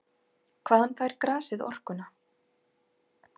Hvaðan fær grasið orkuna?